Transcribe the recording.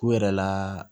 K'u yɛrɛ laa